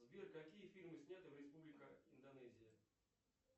сбер какие фильмы сняты в республика индонезия